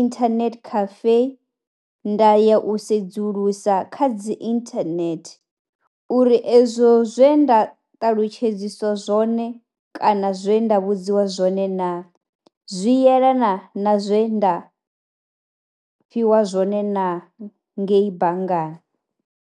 internet cafe nda ya u sedzulusa kha dzi internet uri ezwo zwe nda ṱalutshedziswa zwone kana zwe nda vhudziwa zwone naa zwi yelana zwe nda fhiwa zwone na ngei banngani,